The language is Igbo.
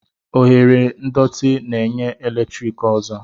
Oghere ndọtị na-enye eletrik ọzọ.